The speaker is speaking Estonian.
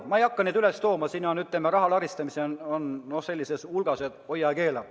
Ma ei hakka neid näiteid tooma, aga raha laristamist on nii palju, et hoia ja keela.